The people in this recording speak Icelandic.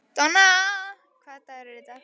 Donna, hvaða dagur er í dag?